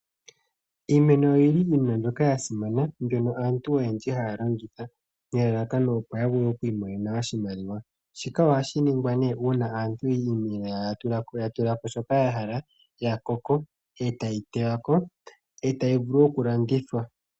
Iimeno oyili iinima mbyoka ya simana mbyono aantu oyendji haya landitha nelalakano opo ya vule oku imonena oshimaliwa. Shika ohashi ningwa nee uuna iimeno yawo ya tulako shoka ya hala, ya koko, etayi tewako, etayi vulu okulandithwa.